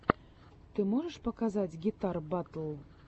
ты можешь показать гитар батл